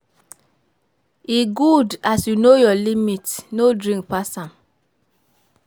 E good as you know your limit, no drink pass am.